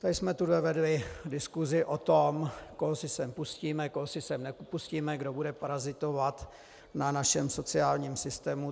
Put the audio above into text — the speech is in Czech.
Tady jsme tuhle vedli diskusi o tom, koho si sem pustíme, koho si sem nepustíme, kdo bude parazitovat na našem sociálním systému.